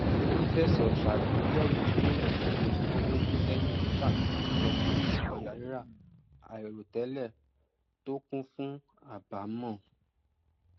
fífẹsọ sàgbéyẹwò bí èyàn ṣe nàwó sẹyìn sàfíhàn ọpọlọpọ ọjà rírà àìròtẹlẹ tó kún fún àbámọ